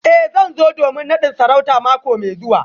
Eh zan zo domin nadin sarauta mako mai zuwa